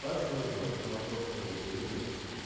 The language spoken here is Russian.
в двадцать ноль ноль по московскому времени